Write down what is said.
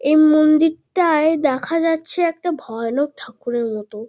এই মন্দির-অ-টায় দেখা যাচ্ছে একটা ভয়ানক ঠাকুরের মতো।